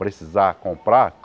Precisar comprar?